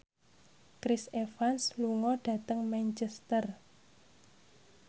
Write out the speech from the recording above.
Chris Evans lunga dhateng Manchester